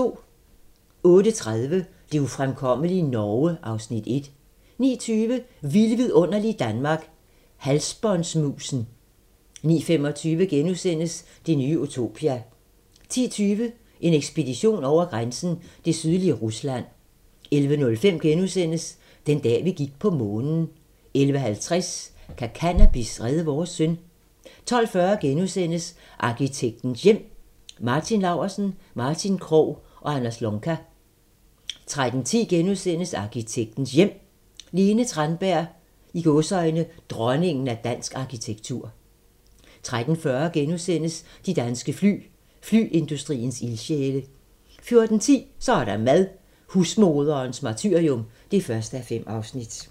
08:30: Det ufremkommelige Norge (Afs. 1) 09:20: Vilde vidunderlige Danmark - Halsbåndmusen 09:25: Det nye utopia * 10:20: En ekspedition over grænsen: Det sydlige Rusland 11:05: Den dag, vi gik på Månen * 11:50: Kan cannabis redde vores søn? 12:40: Arkitektens Hjem: Martin Laursen, Martin Krogh og Anders Lonka * 13:10: Arkitektens Hjem: Lene Tranberg - "Dronningen af dansk arkitektur" 13:40: De danske fly - Flyindustriens ildsjæle * 14:10: Så er der mad - Husmoderens martyrium (1:5)